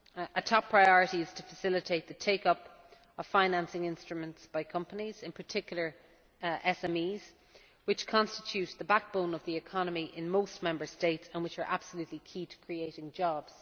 A top priority is to facilitate the take up of financing instruments by companies, in particular SMEs, which constitute the backbone of the economy in most Member States and which are absolutely key to creating jobs.